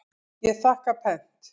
Ég þakka pent.